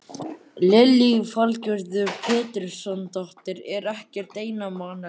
Lillý Valgerður Pétursdóttir: Er ekkert einmanalegt?